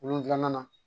Wolonfila na